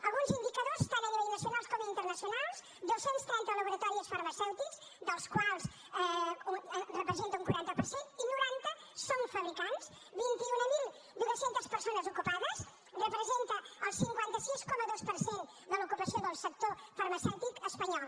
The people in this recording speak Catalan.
alguns indicadors tant a nivell nacional com internacional dos cents i trenta laboratoris farmacèutics els quals representen un quaranta per cent i noranta són fabricants vint mil dos cents persones ocupades representa el cinquanta sis coma dos per cent de l’ocupació del sector farmacèutic espanyol